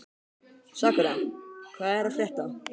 Sakura, hvað er að frétta?